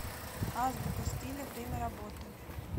азбука стиля время работы